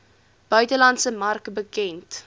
buitelandse mark bekend